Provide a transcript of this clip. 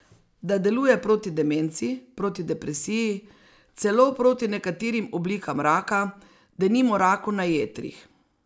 Da deluje proti demenci, proti depresiji, celo proti nekaterim oblikam raka, denimo raku na jetrih.